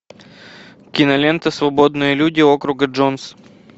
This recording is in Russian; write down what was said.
кинолента свободные люди округа джонс